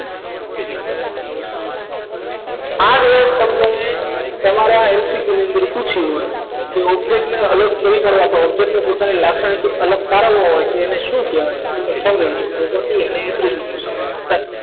આ તમને તમારા MCQ ની અંદર પૂછ્યું હોય તો object ને અલગ કોઈ કરાતો નથી object ને પોતાના અલગ પાડેલો હોય તો તેને શું કહેવાય property અને